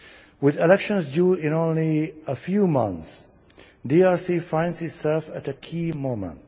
With elections due in only a few months, DRC finds itself at a key moment.